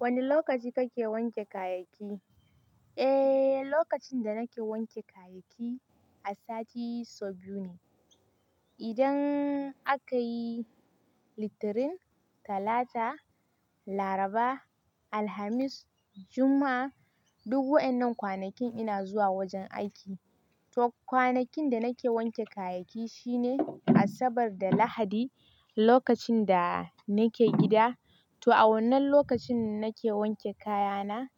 Wani lokaci kake wanke kayayyaki? Eh, lokacin da nake wanke kayayyaki a sati sau biyu ne. Idan aka yi Litinin, Talata, Laraba, Alhamis, Juma'a, duk waɗannan kwanakin ina zuwa wajen aiki. To kwanakin da nake wanke kayayyaki shine Asabar da Lahadi, lokacin da nake gida. To a wannan lokacin nake wanke kayana.